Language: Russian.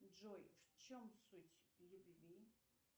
джой в чем суть любви